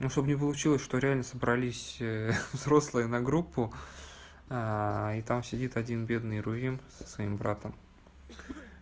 ну чтоб не получилось что реально собрались ха-ха взрослые на группу и там сидит один бедный рувим со своим братом